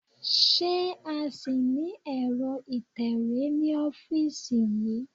Ṣé a ṣì ní ẹ̀rọ ìtẹ̀wé ní ọ́fíìsì yí?